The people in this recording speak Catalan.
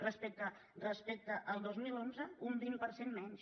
respecte al dos mil onze un vint per cent menys